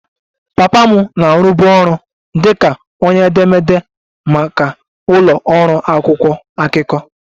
Papa m na-arụbu ọrụ dị ka onye edemede maka ụlọ ọrụ akwụkwọ akụkọ